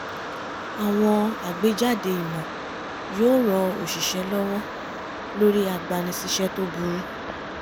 àwọn àgbéjáde ìmò yóò ran oṣìṣẹ́ lọwọ lórí agbani-síṣẹ́ tó burú